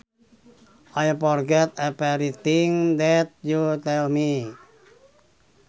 I forget every thing that you tell me